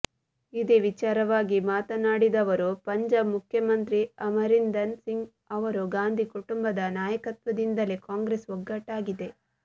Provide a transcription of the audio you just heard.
ಇದೇ ವಿಚಾರವಾಗಿ ಮಾತನಾಡಿದರುವ ಪಂಜಾಬ್ ಮುಖ್ಯಮಂತ್ರಿ ಅಮರಿಂದರ್ ಸಿಂಗ್ ಅವರು ಗಾಂಧಿ ಕುಟುಂಬದ ನಾಯಕತ್ವದಿಂದಲೇ ಕಾಂಗ್ರೆಸ್ ಒಗ್ಗಟ್ಟಾಗಿದೆ